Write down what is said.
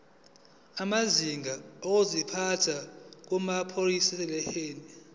amazinga okuziphatha kumaprofeshinali